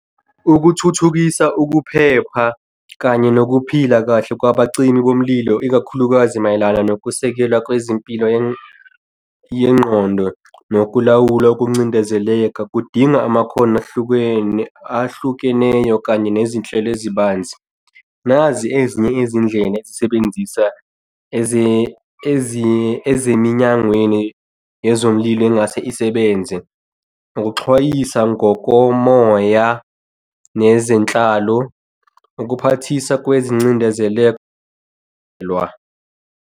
Ukuthuthukisa ukuphepha kanye nokuphila kahle kwabacimi bomlilo, ikakhulukazi mayelana nokusekelwa kwezimpilo yengqondo nokulawula ukuncindezeleka kudinga amakhono ahlukene, ahlukeneyo kanye nezinhlelo ezibanzi. Nazi ezinye izindlela ezisebenzisa eziminyangweni yezomlilo engase isebenze ukuxhwayisa ngokomoya nezenhlalo, ukuphathisa kwezicindezelwa.